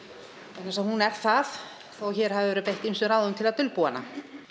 vegna þess að hún er það þótt hér hafi verið beitt ýmsum ráðum til að dulbúa hana